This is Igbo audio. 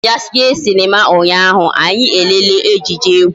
A kpo m ya jee Sinima unyaahu anyi elele ejije egwu